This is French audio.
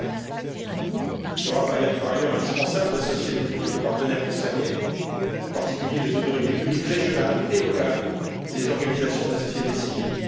2013. Il sera, par ailleurs, indispensable d'associer les multiples partenaires concernés, en particulier les autorités publiques régionales et locales et les organisations de la société civile.